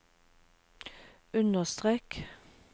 understrek